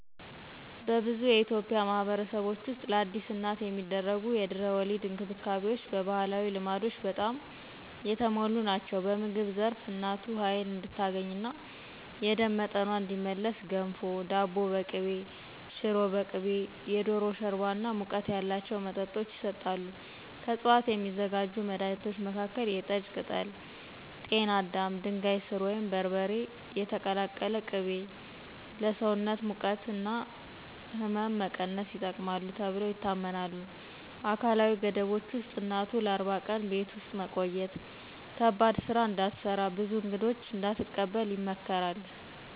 በብዙ የኢትዮጵያ ማኅበረሰቦች ውስጥ ለአዲስ እናት የሚደረጉ የድህረ-ወሊድ እንክብካቤዎች በባህላዊ ልማዶች በጣም የተሞሉ ናቸው። በምግብ ዘርፍ እናቱ ኃይሏን እንድታገኝና የደም መቶኛዋ እንዲመለስ ገንፎ፣ ዳቦ በቅቤ፣ ሽሮ በቅቤ፣ የዶሮ ሾርባ እና ሙቀት ያላቸው መጠጦች ይሰጣሉ። ከዕፅዋት የሚዘጋጁ መድኃኒቶች መካከል የጠጅ ቅጠል፣ ጤና አዳም፣ ድንጋይ ሥር ወይም በርበሬ የተቀላቀለ ቅቤ ለሰውነት ሙቀት እና ሕመም መቀነስ ይጠቅማሉ ተብለው ይታመናሉ። አካላዊ ገደቦች ውስጥ እናቱ ለ40 ቀን ቤት ውስጥ መቆየት፣ ከባድ ሥራ እንዳትሰራ፣ ብዙ እንግዶች እንዳትቀበል ይመከራል።